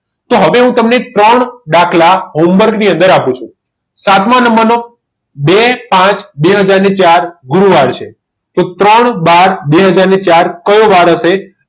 તો હવે હું તમને ત્રણ દાખલા home work ની અંદર આપું છું સાતમા નંબરનો બે પાંચ અને બે હજાર ને ચાર ગુરૂવાર છે તો ત્રણ બાર બે હજાર ને ચાર કયો વાર હશે